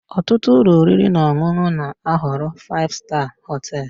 Ọtụtụ ụlọ oriri na ọṅụṅụ na-ahọrọ 5 star hotel.